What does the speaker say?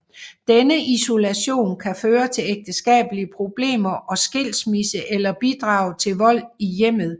Denne isolation kan føre til ægteskabelige problemer og skilsmisse eller bidrage til vold i hjemmet